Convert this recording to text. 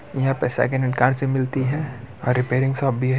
यहां पे second hand car सब मिलती है और रिपेयरिंग शॉप भी है।